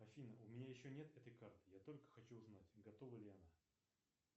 афина у меня еще нет этой карты я только хочу узнать готова ли она